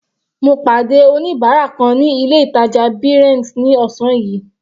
Mo pàdé oníbárà kan ní ilé ìtàjà Brent ní ọ̀sán yìí.